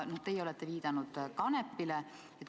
Teie olete viidanud Kanepile.